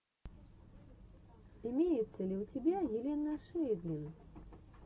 имеется ли у тебя елена шейдлин